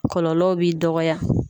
Kɔlɔlɔw b'i dɔgɔya.